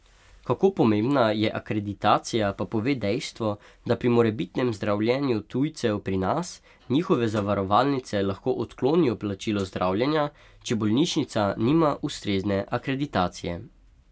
Kako pomembna je akreditacija, pa pove dejstvo, da pri morebitnem zdravljenju tujcev pri nas, njihove zavarovalnice lahko odklonijo plačilo zdravljenja, če bolnišnica nima ustrezne akreditacije.